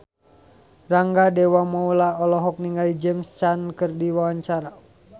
Rangga Dewamoela olohok ningali James Caan keur diwawancara